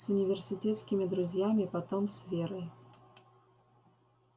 с университетскими друзьями потом с верой